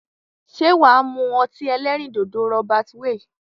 Se waa mu oti elerin dodo Robert Weil?